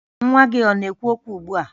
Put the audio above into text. Nwa gị ọ na-ekwu okwu ugbua?